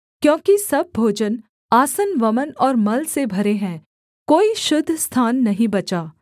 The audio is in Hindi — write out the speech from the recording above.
क्योंकि सब भोजन आसन वमन और मल से भरे हैं कोई शुद्ध स्थान नहीं बचा